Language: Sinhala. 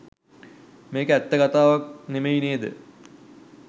මේක ඇත්ත කතාවක් නෙමෙයි නේද?